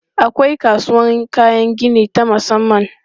Akwai kasuwan kayan gini ta musamman.